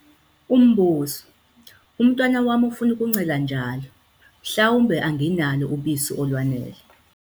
Umbuzo- Umntwana wami ufuna ukuncela njalo mhlawumbe anginalo ubisi olwanele?